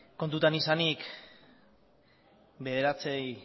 kontutan izanik bederatzi